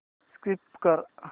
skip कर